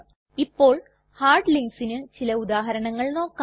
ഇപ്പോൾ ഹാർഡ് linksന് ചില ഉദാഹരണങ്ങൾ നോക്കാം